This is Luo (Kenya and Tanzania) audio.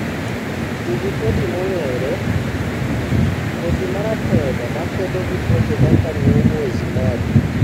Tii gi kodhi mongere , kodhi maratego makedo tuoche kaka new mwezi moja.